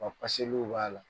Rɔbu paseliw b'a la.